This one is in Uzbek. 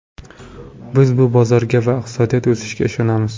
Biz bu bozorga va iqtisodiy o‘sishga ishonamiz.